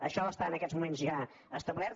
això està en aquests moments ja establert